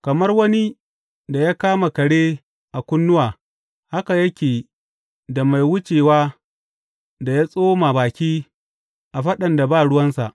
Kamar wani da ya kama kare a kunnuwa haka yake da mai wucewa da ya tsoma baki a faɗan da ba ruwansa.